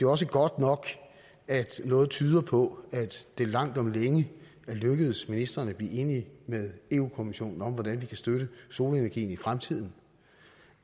også godt nok at noget tyder på at det langt om længe er lykkedes ministeren at blive enig med europa kommissionen om hvordan vi kan støtte solenergien i fremtiden